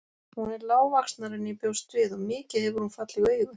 Hún er lágvaxnari en ég bjóst við og mikið hefur hún falleg augu.